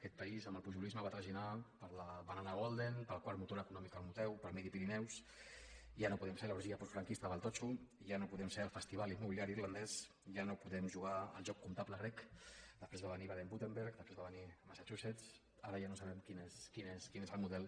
aquest país amb el pujolisme va traginar per la banana golden pel quart motor econòmic europeu per midi pyrénées i ja no podem ser l’orgia postfranquista del totxo i ja no podem ser el festival immobiliari irlandès ja no podem jugar al joc comptable grec després va venir badenwürttemberg després va venir massachusetts ara ja no sabem quin és el model